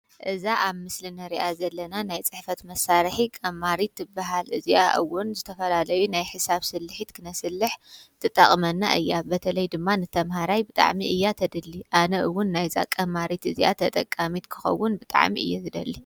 እዛ ኣብ ምስሊ እንርእያ ዘለና ናይ ጽሕፈት መሳርሒ ቀማሪት ትብሃል፤ እዚኣ እዉን ዝተፈላለዩ ናይ ሒሳብ ስሊሕት ክነስልሕ ትጠቅመና እያ፤ በተለይ ድማ ንተምሃራይ ብጣዕሚ እያ ተድሊ፤ ኣነ ዉን ናይዛ ቀማሪ እዚኣ ተጠቃሚት ክከዉን ብጣዕሚ እየ ዝደሊ።